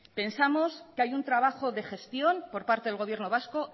pensamos que hay un trabajo de gestión por parte del gobierno vasco